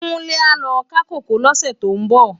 Kunle á lò ká kókòó lòsè tó n bò